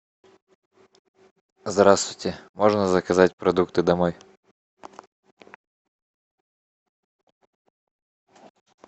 здравствуйте можно заказать продукты домой